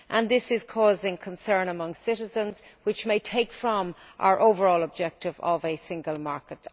This is causing concern among citizens, which may detract from our overall objective of a single market.